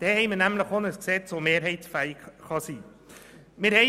So haben wir ein Gesetz, das mehrheitsfähig sein kann.